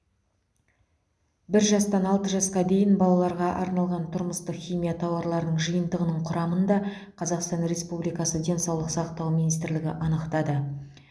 бір жастан алты жасқа дейін балаларға арналған тұрмыстық химия тауарларының жиынтығының құрамын да қазақстан республикасы денсаулық сақтау министрлігі анықтады